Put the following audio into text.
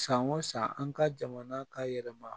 San o san an ka jamana ka yɛlɛma